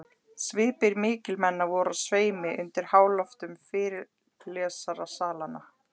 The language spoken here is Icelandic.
Svipir mikilmenna voru á sveimi undir háloftum fyrirlestrarsalanna.